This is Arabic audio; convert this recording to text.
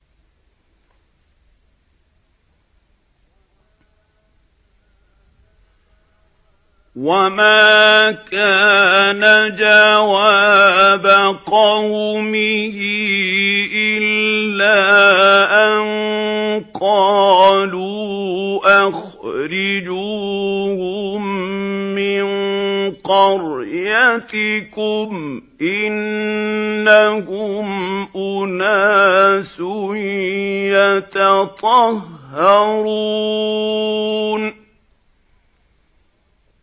وَمَا كَانَ جَوَابَ قَوْمِهِ إِلَّا أَن قَالُوا أَخْرِجُوهُم مِّن قَرْيَتِكُمْ ۖ إِنَّهُمْ أُنَاسٌ يَتَطَهَّرُونَ